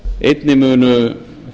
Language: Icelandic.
einnig munu